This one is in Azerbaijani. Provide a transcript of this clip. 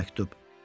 Bu məktub.